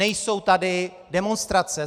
Nejsou tady demonstrace.